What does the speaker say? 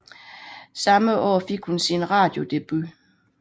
Samme år fik hun sin radiodebut